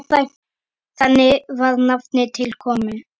Þannig var nafnið til komið.